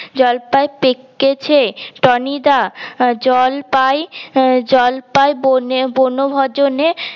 জলপাই পেকেছে টনি দা জলপাই জলপাই বনে বনভোজনে